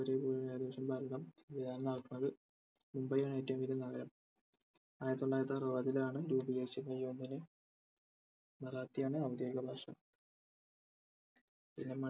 മുംബൈ ആണ് ഏറ്റവും വലിയ നഗരം ആയിരത്തിത്തൊള്ളായിരത്തിഅറവത്തിലാണ് രൂപീകരിച്ചത് may ഒന്നിന് മറാത്തി ആണ് ഔദ്യോഗിക ഭാഷ പിന്നെ